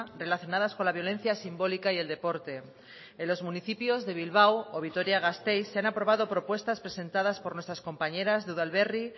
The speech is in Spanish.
relacionadas con la violencia simbólica y el deporte en los municipios de bilbao o vitoria gasteiz se han aprobado propuestas presentadas por nuestras compañeras de udalberri